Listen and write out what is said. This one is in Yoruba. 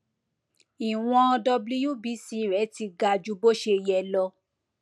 ìwọn wbc rẹ ti ga ju bó ṣe yẹ lọ